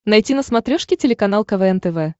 найти на смотрешке телеканал квн тв